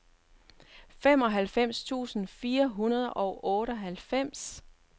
femoghalvfems tusind fire hundrede og otteoghalvfems